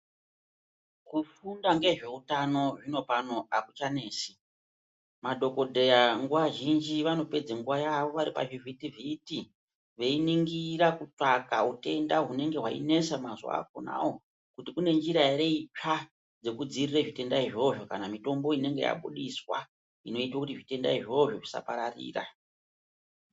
Kufunda ngezveutano zvinopano akuchanesi. Madhokodheya nguwa zhinji vanopedza nguwa yawo vari pazvivhiti-vhiti veiningira kutsvaka utenda hunenge hweinesa mazuwa akhonawo kuti kune njira ere itsva dzekudzivirira zvitenda izvozvo kana mitombo inenge yabudiswa inoita kuti zvitenda izvozvo zvisapararira.